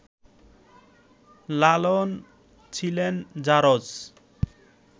লালন ছিলেন ‘জারজ’